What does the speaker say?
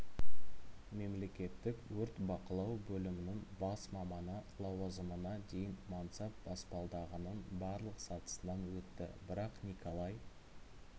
мемлекеттік өрт бақылау бөлімінің бас маманы лауазымына дейін мансап баспалдағының барлық сатысынан өтті бірақ николай